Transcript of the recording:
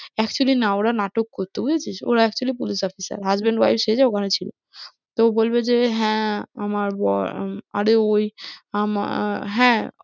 actually না ওরা নাটক করতো বুঝেছিস? ওরা actually police officer, husband wife সেজে ওখানে ছিল তো ও বলবে যে হ্যাঁ, আমার বর আরে ওই আমার হ্যাঁ